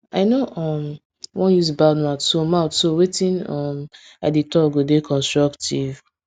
i no um wan use bad mouth so mouth so wetin um i dey talk go dey constructive